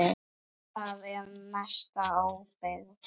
Það er að mestu óbyggt.